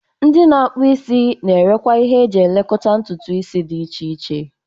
Ndi na-akpu isi na-erekwa ihe eji elekọta ntutu isi dị iche iche.